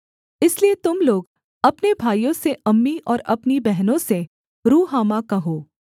इसलिए तुम लोग अपने भाइयों से अम्मी और अपनी बहनों से रुहामा कहो